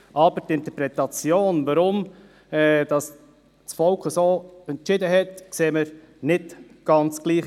Aber die Interpretation, weshalb das Volk so entschieden hat, sehen wir nicht ganz gleich.